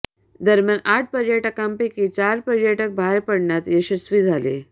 दरम्यान आठ पर्यटकांपैकी चार पर्यटक बाहेर पडण्यास यशस्वी झाले